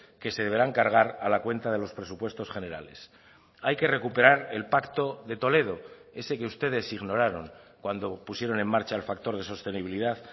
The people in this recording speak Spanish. que se deberán cargar a la cuenta de los presupuestos generales hay que recuperar el pacto de toledo ese que ustedes ignoraron cuando pusieron en marcha el factor de sostenibilidad